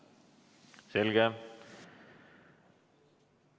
Selge.